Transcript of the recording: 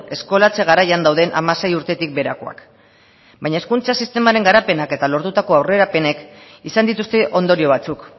eskolatze garaian dauden hamasei urtetik beherakoak baina hezkuntza sistemaren garapenak eta lortutako aurrerapenek izan dituzte ondorio batzuk